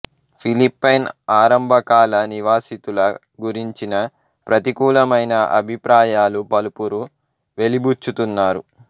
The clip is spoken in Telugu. ఫిలిప్పైన్ ఆరంభకాల నివాసితుల గురించిన ప్రతికూలమైన అభిప్రాయాలు పలువురు వెలిబుచ్చుతున్నారు